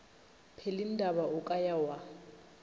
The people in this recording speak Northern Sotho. pelindaba o ka ya wa